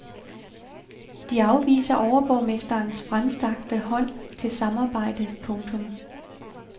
De afviser overborgmesterens fremstrakte hånd til samarbejde. punktum